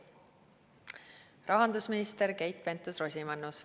Rahandusminister Keit Pentus-Rosimannus.